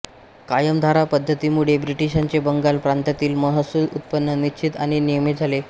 कायमधारा पद्धतीमुळे ब्रिटीशांचे बंगाल प्रांतातील महसूल उत्पन्न निश्चित आणि नियमित झाले